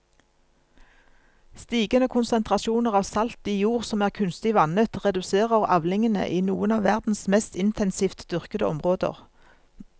Stigende konsentrasjoner av salt i jord som er kunstig vannet reduserer avlingene i noen av verdens mest intensivt dyrkede områder.